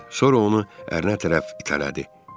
Sonra onu ərinə tərəf itələdi.